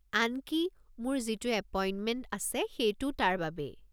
আনকি, মোৰ যিটো এপইণ্টমেণ্ট আছে সেইটোও তাৰে বাবেই।